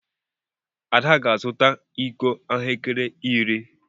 Ada ga-azụta iko ahụekere iri.